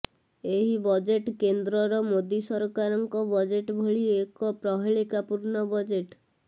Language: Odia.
ଏହି ବଜେଟ୍ କେନ୍ଦ୍ରର ମୋଦି ସରକାରଙ୍କ ବଜେଟ୍ ଭଳି ଏକ ପ୍ରହେଳିକା ପୂର୍ଣ୍ଣ ବଜେଟ୍